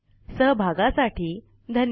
सहभागासाठी धन्यवाद